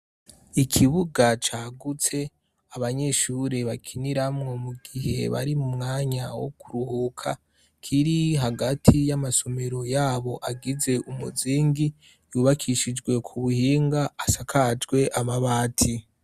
Ikibuga cagutse abanyeshure bakiniramwo mu gihe bari mu mwanya wo kuruhuka kiri hagati y'amasomero yabo agize umuzingi yubakishijwe ku buhinga asakajwe amabati.